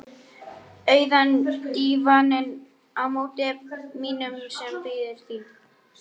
Auðan dívaninn á móti mínum sem bíður þín.